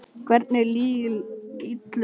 Hvernig illum öflum?